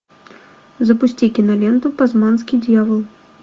запусти киноленту тасманский дьявол